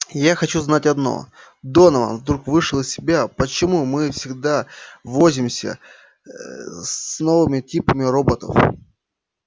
я хочу знать одно донован вдруг вышел из себя почему мы всегда возимся ээ с новыми типами роботов